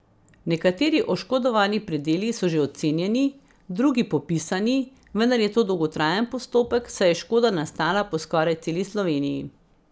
Nekateri oškodovani predeli so že ocenjeni, drugi popisani, vendar je to dolgotrajen postopek, saj je škoda nastala po skoraj celi Sloveniji.